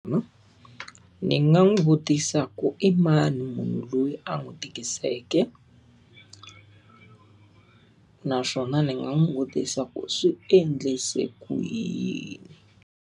ni nga n'wi vutisa ku i mani munhu loyi a n'wi tikiseke naswona ni nga n'wi vutisa ku swi endlise ku yini?